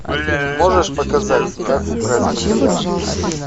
можешь показать как украсть бриллиант